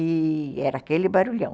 E era aquele barulhão.